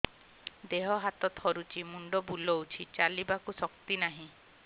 ଦେହ ହାତ ଥରୁଛି ମୁଣ୍ଡ ବୁଲଉଛି ଚାଲିବାକୁ ଶକ୍ତି ନାହିଁ